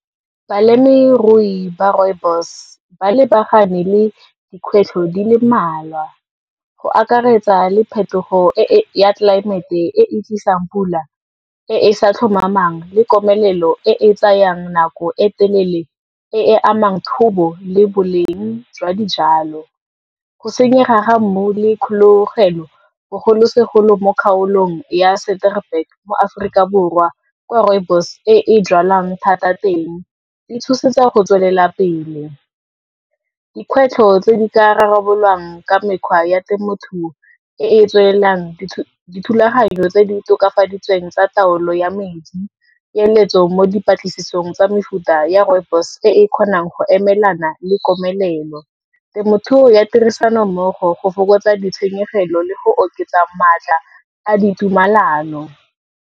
Balemirui ba rooibos, ba lebagane le dikgwetlho di le mmalwa, go akaretsa le phetogo ya tlelaemete e e tlisang pula, e e sa tlhomamang le komelelo e e tsayang nako e telele e e amang thobo le boleng jwa dijalo, go senyega ga mmu le kgologolo, bogolosegolo mo kgaolong ya Cederberg mo Aforika Borwa, ko rooibos e e jalwang thata teng, e tshosetsa go tswelelapele. Dikgwetlho tse di ka rarabololwang ka mekgwa ya temothuo e e tswelelang dithulaganyo tse di tokafaditsweng tsa taolo ya medi, keletso mo dipatlisisong tsa mefuta ya rooibos e e kgonang go emelana le komelelo, temothuo ya tirisano mmogo go fokotsa ditshenyegelo le go oketsa maatla a ditumalano.